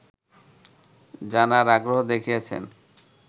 জানার আগ্রহ দেখিয়েছে